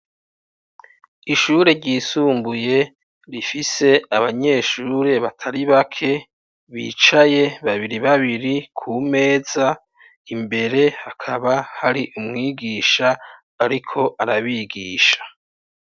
Ishure ryisumbuye rifise abanyeshure batari bake bicaye babiri babiri ku meza, imbere hakaba hari umwigisha ariko arabigisha.